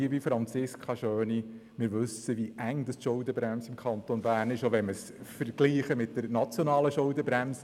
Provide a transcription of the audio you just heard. Liebe Franziska Schöni, wir wissen, wie eng die Schuldenbremse im Kanton Bern ist, auch im Vergleich mit der nationalen Schuldenbremse.